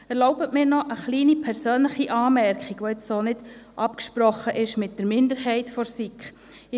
Erlauben Sie mir noch eine kleine persönliche Anmerkung, welche nicht mit der Minderheit der SiK abgesprochen ist: